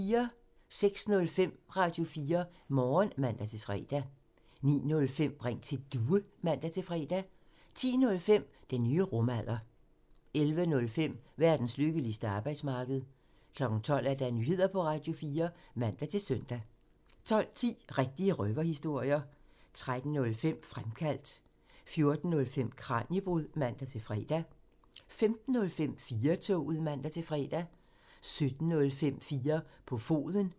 06:05: Radio4 Morgen (man-fre) 09:05: Ring til Due (man-fre) 10:05: Den nye rumalder (man) 11:05: Verdens lykkeligste arbejdsmarked (man) 12:00: Nyheder på Radio4 (man-søn) 12:10: Rigtige røverhistorier (man) 13:05: Fremkaldt (man) 14:05: Kraniebrud (man-fre) 15:05: 4-toget (man-fre) 17:05: 4 på foden (man)